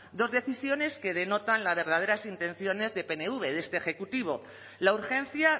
dos decisiones que denotan las verdaderas intenciones de pnv de este ejecutivo la urgencia